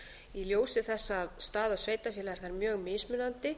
í ljósi þess að staða sveitarfélaga er þar mjög mismunandi